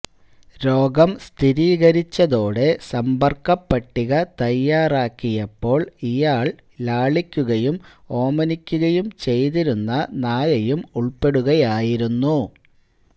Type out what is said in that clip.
രോഗം സ്ഥിരീകരിച്ചതോടെ സമ്പര്ക്ക പട്ടിക തയ്യാറാക്കിയപ്പോള് ഇയാള് ലാളിക്കുകയും ഓമനിക്കുകയും ചെയ്തിരുന്ന നായയും ഉള്പ്പെടുകയായിരുന്നു